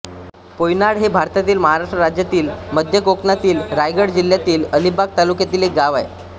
पोयनाड हे भारतातील महाराष्ट्र राज्यातील मध्य कोकणातील रायगड जिल्ह्यातील अलिबाग तालुक्यातील एक गाव आहे